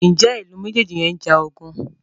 Njé Ilú mejeji yén njà ogun?